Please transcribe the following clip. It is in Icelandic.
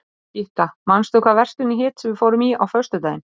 Gytta, manstu hvað verslunin hét sem við fórum í á föstudaginn?